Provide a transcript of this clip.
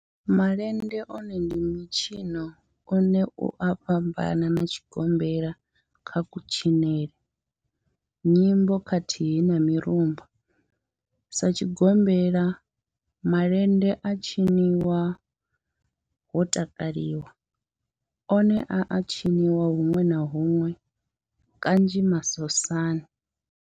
Malende one ndi mitshino une u a fhambana na tshigombela kha kutshinele, nyimbo khathihi na mirumba. Sa tshigombela, malende a tshinwa ho takalwa, one a a tshiniwa hunwe na hunwe kanzhi masosani.